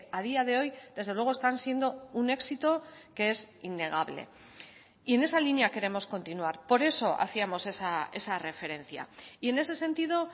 a día de hoy desde luego están siendo un éxito que es innegable y en esa línea queremos continuar por eso hacíamos esa referencia y en ese sentido